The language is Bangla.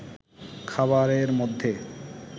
খাবারের মধ্যে